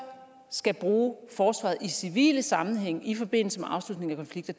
skal bruge forsvaret i civile sammenhænge i forbindelse med afslutningen af konflikter